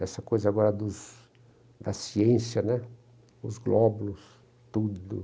essa coisa agora dos da ciência né, os glóbulos, tudo.